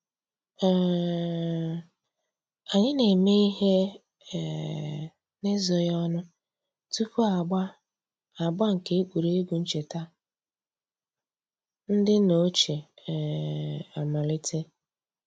um Ànyị̀ nà-émè íhè um n'èzòghì ònù túpù àgbà àgbà nke ègwè́ré́gwụ̀ nchètà ńdí nnà òchìè um àmàlítè.